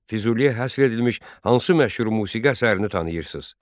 Füzuliyə həsr edilmiş hansı məşhur musiqi əsərini tanıyırsız?